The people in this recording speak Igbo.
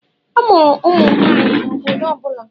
A mụrụ ụmụ nwanyị na obodo ọ bụla